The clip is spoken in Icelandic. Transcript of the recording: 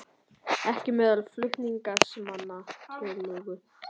Ekki meðal flutningsmanna tillögu